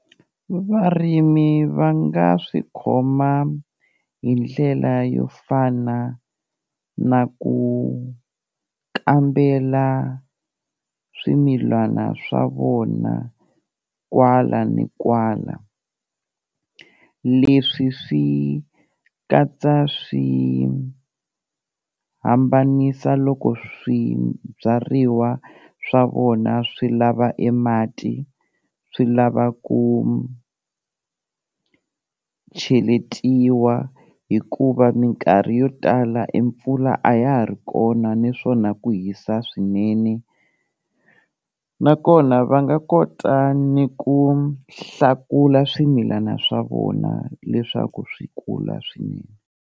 Varimi va nga swi khoma hi ndlela yo fana na ku kambela swimilana swa vona kwala ni kwala, leswi swi katsa swi hambanisa loko swibyariwa swa vona swi lava e mati swi lava ku cheletiwa hikuva minkarhi yo tala e mpfula a ya ha ri kona niswona ku hisa swinene, nakona va nga kota ni ku hlakula swimilana swa vona leswaku swi kula swinene.